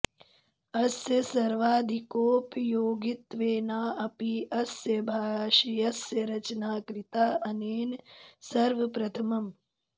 अस्य सर्वाधिकोपयोगित्वेनाऽपि अस्य भाष्यस्य रचना कृता अनेन सर्वप्रथमम्